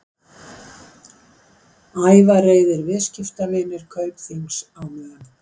Ævareiðir viðskiptavinir Kaupþings á Mön